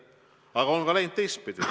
Aga on ka läinud teistpidi.